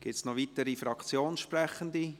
Gibt es noch weitere Fraktionssprechende?